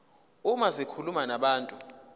uma zikhuluma nabantu